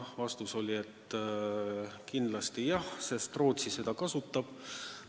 Vastus oli, et kindlasti jah, Rootsi seda kasutab.